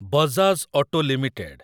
Bajaj auto limited